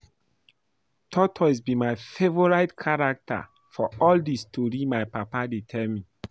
Tortoise be my favourite character for all the story my papa dey tell me